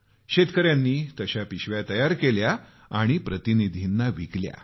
शेतकऱ्यांनी तशा पिशव्या बनवल्या आणि प्रतिनिधींना विकल्या